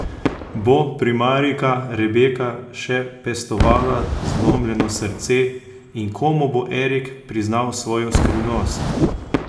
Bo primarijka Rebeka še pestovala zlomljeno srce in komu bo Erik priznal svojo skrivnost?